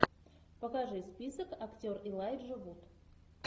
покажи список актер элайджа вуд